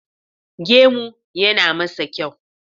Gemu yana masa kyau